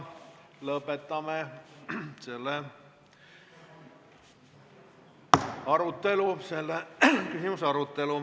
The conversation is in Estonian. Lõpetame selle küsimuse arutelu.